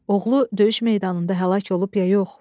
Oğlu döyüş meydanında həlak olub ya yox?